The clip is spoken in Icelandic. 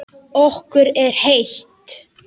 Okkur er heitt.